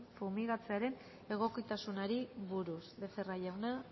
fumigatzearen egokitasunari buruz becerra jauna